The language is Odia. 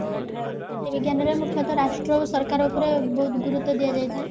ରାଜନୀତି ବିଜ୍ଞାନ ରେ ମୁଖ୍ୟତ ରାଷ୍ଟ୍ର ଆଉ ସରକାର ଉପରେ ବୋହୁତ ଗୁରୁତ୍ଵ ଦିଆଯାଇଥାଏ